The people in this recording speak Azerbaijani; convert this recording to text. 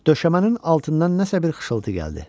Döşəmənin altından nəsə bir xışıltı gəldi.